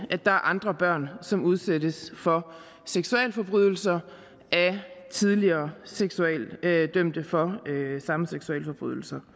er andre børn som udsættes for seksualforbrydelser af tidligere dømte for samme seksualforbrydelser